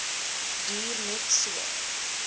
duur net so